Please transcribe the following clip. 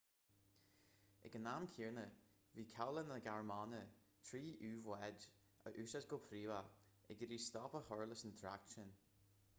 ag an am céanna bhí cabhlach na gearmáine trí u-bháid a úsáid go príomha ag iarraidh stop a chur leis an trácht sin